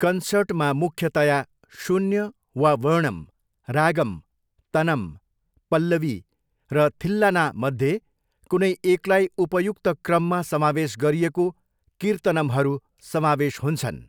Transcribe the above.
कन्सर्टमा मुख्यतया शून्य वा वर्णम्, रागम्, तनम्, पल्लवी र थिल्लानामध्ये कुनै एकलाई उपयुक्त क्रममा समावेश गरिएको कीर्तनम्हरू समावेश हुन्छन्।